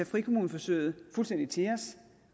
frikommuneforsøget fuldstændig til at os